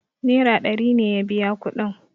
naira ɗari ne ya biya kudin